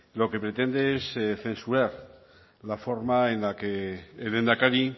lo que pretende es censurar la forma en la que el lehendakari